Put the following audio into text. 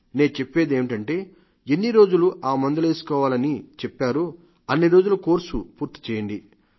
నే చెప్పేది ఏమిటంటే ఎన్నిరోజులు ఆ మందులేసుకోవాలని చెప్పారో అన్ని రోజుల కోర్స్ పూర్తిచేయండి